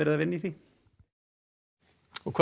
að vinna í því hvað